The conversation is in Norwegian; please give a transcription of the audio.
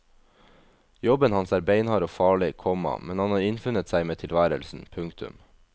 Jobben hans er beinhard og farlig, komma men han har innfunnet seg med tilværelsen. punktum